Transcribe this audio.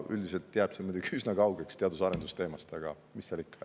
Üldiselt jääb see muidugi üsna kaugeks teadus‑ ja arendustegevuse teemast, aga mis seal ikka.